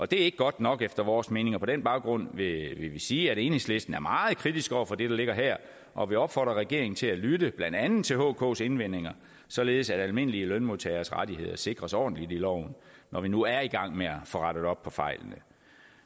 det er ikke godt nok efter vores mening og på den baggrund vil vi sige at enhedslisten er meget kritisk over for det der ligger her og vil opfordre regeringen til at lytte blandt andet til hks indvendinger således at de almindelige lønmodtageres rettigheder sikres ordentligt i loven når vi nu er i gang med at få rettet op på fejlene